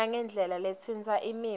nangendlela letsintsa imiva